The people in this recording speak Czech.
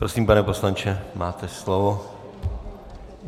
Prosím, pane poslanče, máte slovo.